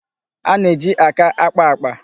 A na-eji aka ákpâ àkpà.